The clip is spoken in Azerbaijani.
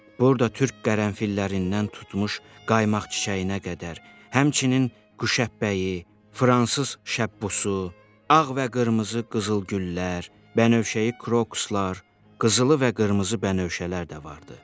Burda türk qərənfillərindən tutmuş qaymaq çiçəyinə qədər, həmçinin quşəbpəyi, fransız şəbbusu, ağ və qırmızı qızıl güllər, bənövşəyi krokuslar, qızılı və qırmızı bənövşələr də vardı.